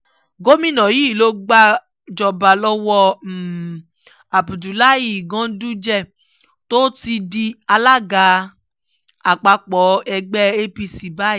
gomina yìí ló gbàjọba lọ́wọ́ abdullahi ganduje tó ti di alága àpapọ̀ ẹgbẹ́ apc báyìí